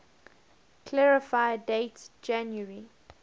clarify date january